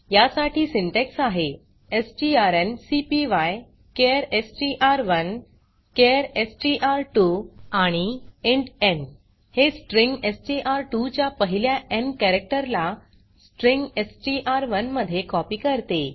या साठी सिंटॅक्स आहे strncpyचार एसटीआर1 चार एसटीआर2 आणि इंट न् हे स्ट्रिंग एसटीआर2 च्या पहिल्या न् कॅरेक्टर ला स्ट्रिंग एसटीआर1 मध्ये कॉपी करते